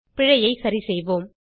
பிழையை சரிசெய்வோம்